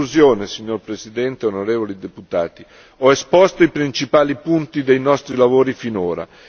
In conclusione signor presidente, onorevoli deputati, ho esposto i principali punti dei nostri lavori finora.